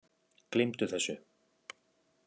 Gleymdu þessu!